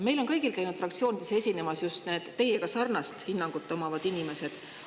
Meil on kõigil käinud fraktsioonides esinemas just need teiega sarnast hinnangut omavad inimesed.